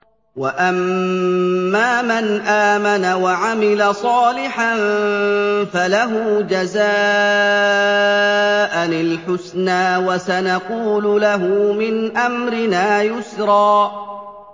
وَأَمَّا مَنْ آمَنَ وَعَمِلَ صَالِحًا فَلَهُ جَزَاءً الْحُسْنَىٰ ۖ وَسَنَقُولُ لَهُ مِنْ أَمْرِنَا يُسْرًا